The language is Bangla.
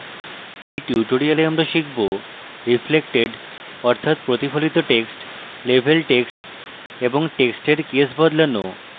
in tutorial আমরা শিখব: রিফ্লেক্টেড অর্থাৎ প্রতিফলিত টেক্সট লেভেল্ড টেক্সট এবং টেক্সটের কেস বদলানো